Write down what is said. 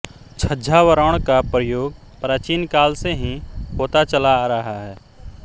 छद्मावरण का प्रयोग प्राचीन काल से ही होता चला आ रहा है